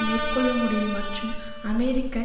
மேற்கொள்ள முடியும் மற்றும் அமெரிக்க